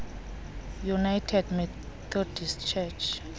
united methodist church